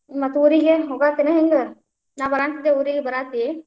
ಮತ್ತ್ ಊರಿಗೆ ಹೋಗಾಂತಿನಾ ಹೆಂಗ್? ನಾ ಬರಾತಿದ್ದೆ ಬರಾತಿ?